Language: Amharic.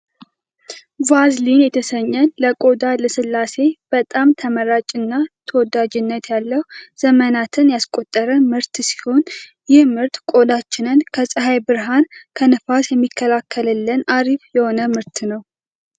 ቫልዚን የተሰኘ ለቆዳ ልስላሴ በጣም ተመራጭ እና ተወዳጅነት ያለው ዘመናትን ያስቆጠረ ምርት ሲሆን ይህ ምርት ቆዳችንን ከፀሐይ ብርሃን ከንፋስ የሚከላከልልን አሪፍ የሆነ ምርት ነው